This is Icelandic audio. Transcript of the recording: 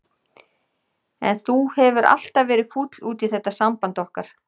En þú hefur alltaf verið fúll út í þetta samband okkar.